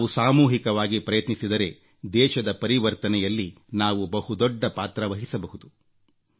ನಾವು ಸಾಮೂಹಿಕವಾಗಿ ಪ್ರಯತ್ನಿಸಿದರೆ ದೇಶದ ಪರಿವರ್ತನೆಯಲ್ಲಿ ನಾವು ಬಹುದೊಡ್ಡ ಪಾತ್ರವಹಿಸಬಹುದು